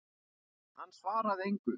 En hann svaraði engu.